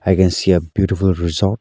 I can see a beautiful resort.